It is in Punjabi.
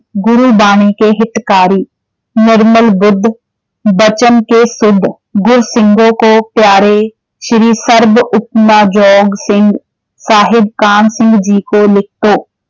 ਗੁਰੂ ਬਾਣੀ ਕੇ ਹਿਤਕਾਰੀ ਨਿਰਮਲ ਬੁੱਧ ਬਚਨ ਕੇ ਸ਼ੁੱਧ ਗੁਰ ਸਿੰਘੋ ਕੋ ਪਿਆਰੇ ਸ਼੍ਰੀ ਸਰਬ ਉਪਮਾ ਯੋਗ ਸਿੰਘ ਸਾਹਿਬ ਕਾਹਨ ਸਿੰਘ ਜੀ ਕੋ ਲਿਖਤੋਂ